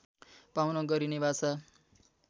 पाउन गरिने वाचा